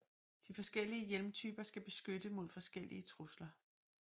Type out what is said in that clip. De forskellige hjelmtyper skal beskytte mod forskellige trusler